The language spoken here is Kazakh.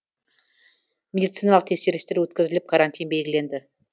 медициналық тексерістер өткізіліп карантин белгіленді